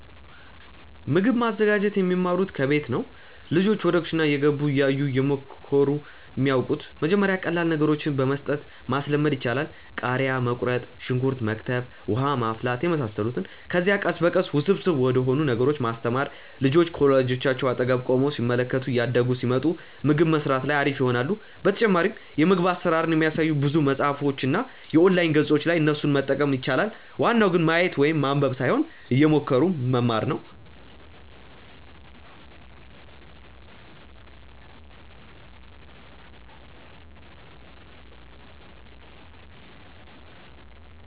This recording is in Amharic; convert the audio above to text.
ምግብ ማዘጋጀት የሚማሩት ከቤት ነው። ልጆች ወደ ኩሽና እየገቡ፣ እያዩ፣ እየሞከሩ ነው የሚያወቁት። መጀመሪያ ቀላል ነገሮችን በመስጠት ማስለመድ ይቻላል። ቃሪያ መቁረጥ፣ ሽንኩርት መክተፍ፣ ውሃ ማፍላት የመሳሰሉትን። ከዚያ ቀስ በቀስ ውስብስብ ወደሆኑ ነገሮች ማስተማር። ልጆች ከወላጆቻቸው አጠገብ ቆመው ሲመለከቱ እያደጉ ሲመጡ ምግብ መስራት ላይ አሪፍ ይሆናሉ። በተጨማሪም የምግብ አሰራርን የሚያሳዩ ብዙ መፅሀፎች እና የኦንላይን ገፆች አሉ እነሱንም መጠቀም ይቻላል። ዋናው ግን ማየት ወይም ማንበብ ሳይሆን እየሞከሩ መማር ነው